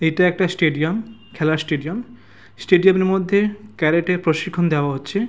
এটা একটা স্টেডিয়াম। খেলার স্টেডিয়াম স্টেডিয়াম এর মধ্যে কারাটে প্রশিক্ষণ দেওয়া হচ্ছে।